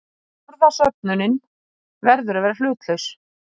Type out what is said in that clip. Orðasöfnunin verður að vera hlutlaus.